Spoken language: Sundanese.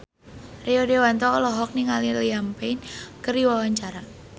Rio Dewanto olohok ningali Liam Payne keur diwawancara